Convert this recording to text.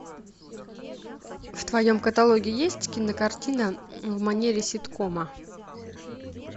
в твоем каталоге есть кинокартина в манере ситкома